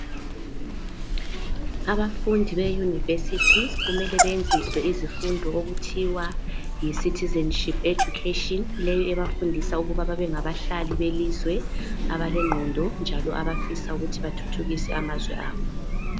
Abafundi be university kumele benziswe izifundo okuthiwa yi citizenship education leyi ebafundisa ukuba babengabahlali belizwe abalengqondo abafisa ukuthi bathuthukise amazwe abo.